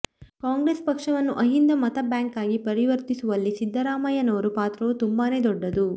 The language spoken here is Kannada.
ಕಾಂಗ್ರೆೆಸ್ ಪಕ್ಷವನ್ನು ಅಹಿಂದ ಮತ ಬ್ಯಾಾಂಕ್ ಆಗಿ ಪರಿವರ್ತಿಸುವಲ್ಲಿ ಸಿದ್ದರಾಮಯ್ಯನವರ ಪಾತ್ರವೂ ತುಂಬಾನೇ ದೊಡ್ಡದು